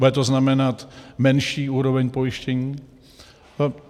Bude to znamenat menší úroveň pojištění?